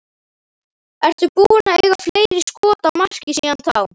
Ertu búinn að eiga fleiri skot á markið síðan þá?